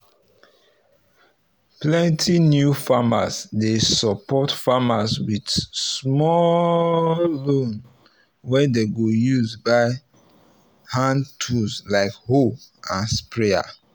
plenty new farmers dey support farmers with small loans wey dem go use buy hand tools like hoe and sprayer